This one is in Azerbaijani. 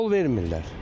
Yol vermirlər.